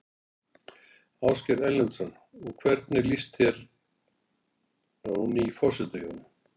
Ásgeir Erlendsson: Og hvernig líst þér á ný forsetahjón?